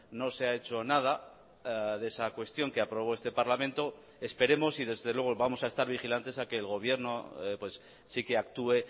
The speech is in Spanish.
no se ha hecho nada de esa cuestión que aprobó este parlamento esperemos y desde luego vamos a estar vigilantes a que el gobierno sí que actúe